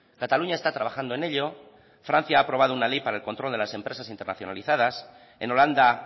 cataluña está trabajando en ello francia ha aprobado una ley para el control de las empresas internacionalizadas en holanda